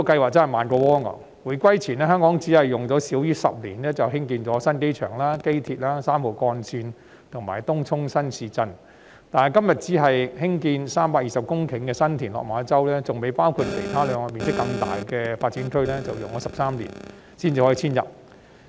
回歸前，香港只用了少於10年便建成新機場、機場鐵路、三號幹線及東涌新市鎮；但今天，只是建設320公頃的新田/落馬洲發展樞紐，尚未包括其餘兩個面積更大的發展區，卻要花13年才可以遷入。